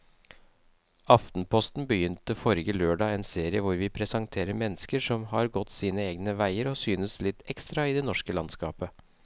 Aftenposten begynte forrige lørdag en serie hvor vi presenterer mennesker som har gått sine egne veier og synes litt ekstra i det norske landskapet.